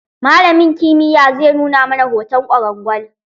Malamin kimiyya zai nuna mana hoton ƙwarangal.